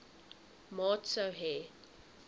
maat sou hê